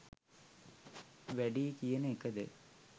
වැඩියි කියන එකද?